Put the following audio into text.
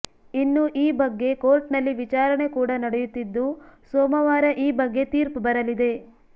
ಇನ್ನು ಈ ಬಗ್ಗೆ ಕೋರ್ಟ್ ನಲ್ಲಿ ವಿಚಾರಣೆ ಕೂಡ ನಡೆಯುತ್ತಿದ್ದು ಸೋಮವಾರ ಈ ಬಗ್ಗೆ ತೀರ್ಪು ಬರಲಿದೆ